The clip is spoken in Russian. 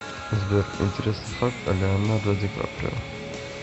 сбер интересный факт о леонардо ди каприо